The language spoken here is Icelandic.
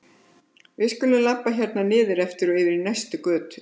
Við skulum labba hérna niður eftir og yfir í næstu götu.